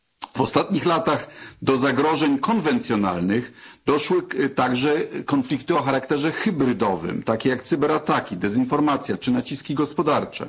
W ostatnich latach do zagrożeń konwencjonalnych doszły także konflikty o charakterze hybrydowym, takie jak cyberataki, dezinformacja czy naciski gospodarcze.